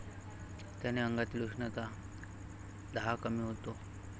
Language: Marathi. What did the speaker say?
त्याने अंगातील उष्णता, दाह कमी होतो.